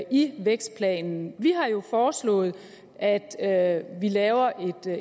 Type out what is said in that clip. i vækstplanen vi har jo foreslået at at vi laver